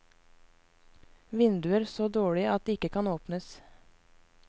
Vinduer så dårlige at de ikke kan åpnes.